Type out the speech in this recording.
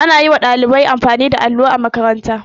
Ana yi wa ɗalibai amfani da allo a makaranta.